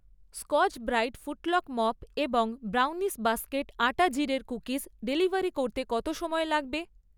Scotch Brite ফুটলক mop এবং brownies basket আটা জিরের কুকিজ ডেলিভারি করতে কত সময় লাগবে?